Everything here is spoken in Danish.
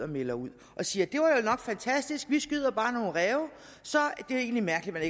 melder ud og siger det var vel nok fantastisk vi skyder bare nogle ræve det er egentlig mærkeligt at